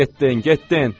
Getdin, getdin!